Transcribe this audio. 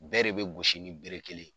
Bɛɛ de bɛ gosi ni bere kelen ye.